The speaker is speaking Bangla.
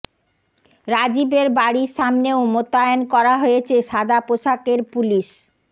রাজীবের বাড়ির সামনেও মোতায়েন করা হয়েছে সাদা পোশাকের পুলিশ